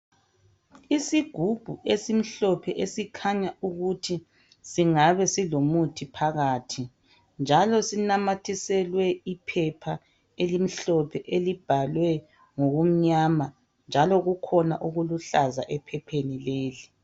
Isigubhu esimhlophe esikhanya ukuthi singabe silomuthi phakhathi njalo sinamathiselwe iphepha elimhlophe elibalwe ngokumnyama njalo kukhona okuluhlaza ephephi leli.